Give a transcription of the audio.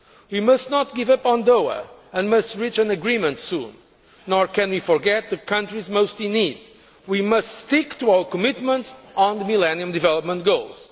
We must not give up on Doha and must reach an agreement soon. Nor can we forget the countries most in need we must stick to our commitments on the Millennium Development Goals.